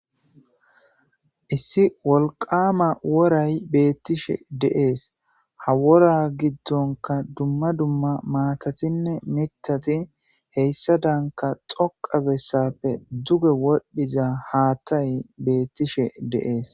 issi wolqama woray beettishe deees ha wora giddonka dumma dumma maatatinne mitati heyssa daanka xoqa bessappe duge wodhdhiza haattay beettishe deees